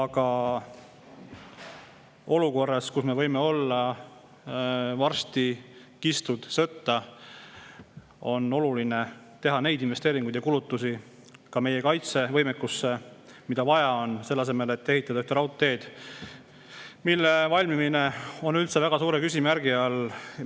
Aga olukorras, kus me võime varsti olla sõtta kistud, on oluline teha investeeringuid ja teisi kulutusi meie kaitsevõimekuse, selle asemel et ehitada üht raudteed, mille valmimine on üldse väga suure küsimärgi all.